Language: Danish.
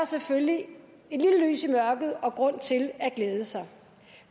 selvfølgelig et lille lys i mørket og grund til at glæde sig